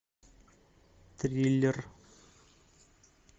триллер